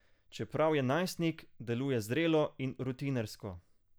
Čeprav je najstnik, deluje zrelo in rutinersko.